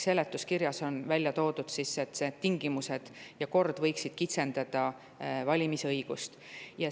Seletuskirjas on välja toodud, et need tingimused ja kord võiksid kitsendada valimisõigust.